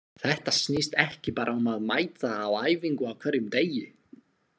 Þetta snýst ekki bara um að mæta á æfingu á hverjum degi.